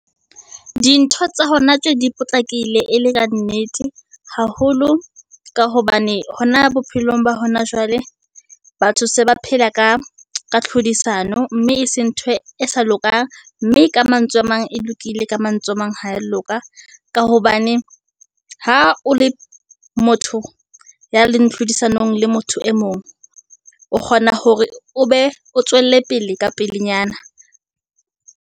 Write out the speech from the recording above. Dintho tsa hona tje di potlakile e le ka nnete, haholo ka hobane hona bophelong ba hona jwale, batho se ba phela ka tlhodisano, mme e se nthwe e sa lokang. Mme ka mantswe a mang, e lokile, ka mantswe a mang, ha ya loka, ka hobane ha o le motho ya leng tlhodisanong le motho e mong, o kgona hore o be o tswelle pele ka pelenyana.